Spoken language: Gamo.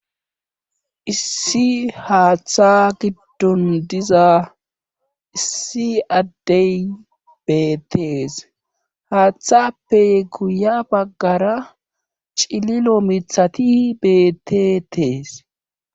issi haaththa giddon diza issi addey beettees haaththappe guya baggara cililo mithati beettetees